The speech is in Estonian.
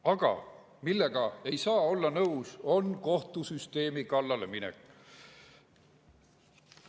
Aga millega ei saa olla nõus, on kohtusüsteemi kallale minek.